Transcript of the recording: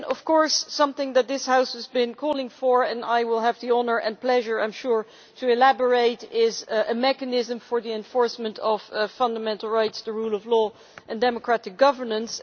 Then there is something that this House has been calling for and I will have the honour and pleasure to elaborate on this a mechanism for the enforcement of fundamental rights, the rule of law and democratic governance.